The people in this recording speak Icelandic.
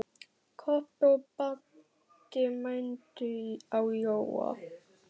Kobbi og Baddi mændu á Jóa.